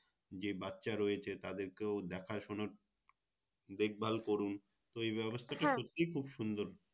যে বাচ্চা রয়েছে তাদেরকেও দেখাশুনো দেখভাল করুন ওই বেবস্থাটা সত্যিই খুব সুন্দর